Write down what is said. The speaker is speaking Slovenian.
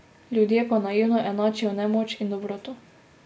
Ljudje pa naivno enačijo nemoč in dobroto.